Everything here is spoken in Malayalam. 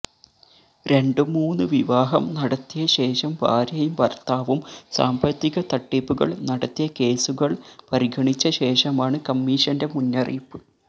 രണ്ടും മൂന്നു വിവാഹം നടത്തിയ ശേഷം ഭാര്യയും ഭര്ത്താവും സാമ്പത്തിക തട്ടിപ്പുകള് നടത്തിയ കേസുകള് പരിഗണിച്ചശേഷമാണ് കമ്മിഷന്റെ മുന്നറിയിപ്പ്